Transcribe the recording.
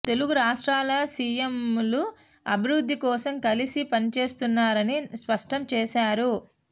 తెలుగు రాష్ట్రాల సియంలు అభివృద్ధి కోసం కలిసి పనిచేస్తున్నారని స్పష్టం చేశారు